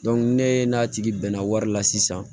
ne n'a tigi bɛnna wari la sisan